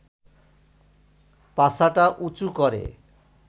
পাছাটা উঁচু করে